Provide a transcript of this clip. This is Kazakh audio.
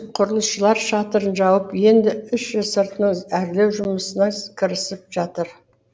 құрылысшылар шатырын жауып енді іші сыртының әрлеу жұмысына кірісіп жатыр